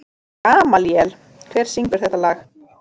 Gamalíel, hver syngur þetta lag?